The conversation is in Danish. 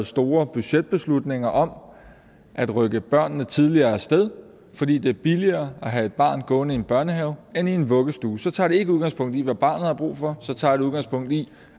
store budgetbeslutninger om at rykke børnene tidligere af sted fordi det er billigere at have et barn gående i en børnehave end i en vuggestue så tager det ikke udgangspunkt i hvad barnet har brug for så tager det udgangspunkt i